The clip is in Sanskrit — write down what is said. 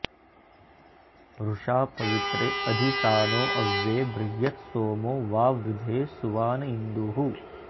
वृषा पवित्रे अधि सानो अव्ये बृहत्सोमो वावृधे सुवान इन्दुः